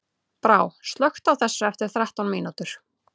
Brá, slökktu á þessu eftir þrettán mínútur.